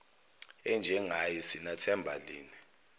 enjengaye sinathemba lini